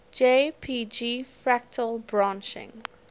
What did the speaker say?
jpg fractal branching